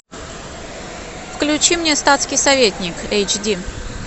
включи мне статский советник эйч ди